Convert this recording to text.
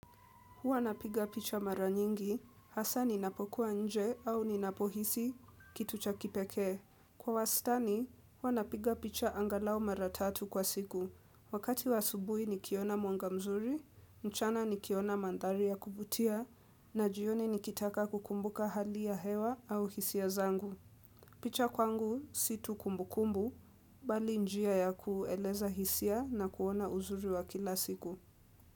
Huwa napiga picha mara nyingi, hasa ninapokuwa nje au ninapohisi kitu cha kipeke. Kwa wastani, huwa napiga picha angalau mara tatu kwa siku. Wakati wa asubuhi nikiona mwanga mzuri, mchana nikiona mandhari ya kuvutia, na jioni nikitaka kukumbuka hali ya hewa au hisia zangu. Picha kwangu si tu kumbukumbu, bali njia ya kueleza hisia na kuona uzuri wa kila siku.